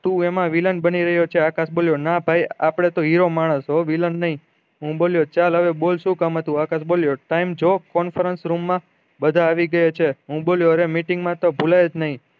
તું એમાં villain બની રહ્યો છે આકાશ બોલ્યો ના ભાઈ આપળે તો હીરો માનસ villain નહી હું બોલ્યો ચાલ હવે બોલ શું કામ હતું આકાશ બોલ્યો time જો conference room માં બધા આવી ગયા છે હું બોલ્યો અરે meeting માં તો ભૂલાય જ નહી